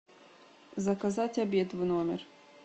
заказать обед в номер